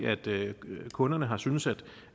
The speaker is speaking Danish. kunderne har syntes at